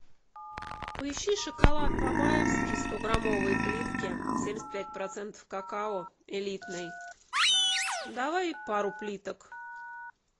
поищи шоколад бабаевский стограммовые плитки семьдесят пять процентов какао элитный давай пару плиток